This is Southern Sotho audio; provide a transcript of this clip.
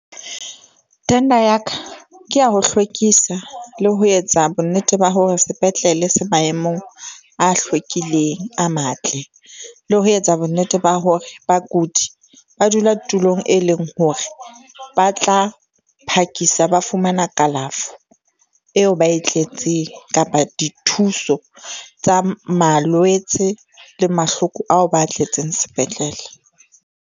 Tender ya ka ke ya ho hlwekisa le ho etsa bonnete ba hore sepetlele se maemong a hlwekileng a matle le ho etsa bonnete ba hore bakudi ba dula tulong, e leng hore ba tla phakisa ba fumana kalafo eo ba e tletseng. Kapa dithuso tsa malwetse le mahloko ao ba a tletseng sepetlele.